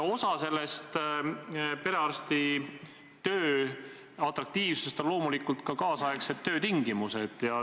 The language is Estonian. Osa perearstitöö atraktiivsusest on loomulikult ka nüüdisaegsed töötingimused.